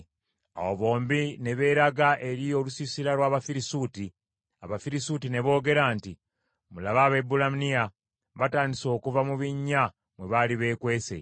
Awo bombi ne beeraga eri olusiisira lw’Abafirisuuti. Abafirisuuti ne boogera nti, “Mulabe, Abaebbulaniya batandise okuva mu binnya mwe baali beekwese.”